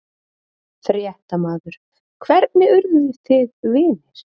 Fréttamaður: Hvernig urðu þið vinir?